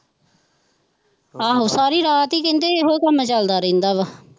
ਆਹੋ ਸਾਰੀ ਰਾਤ ਹੀ ਕਹਿੰਦੇ ਇਹੋ ਕੰਮ ਚੱਲਦਾ ਰਹਿੰਦਾ ਵਾ।